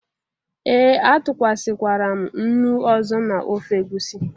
Ee, atụkwasịkwara m nnu ọzọ na ofe egusi